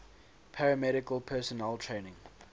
paramedical personnel training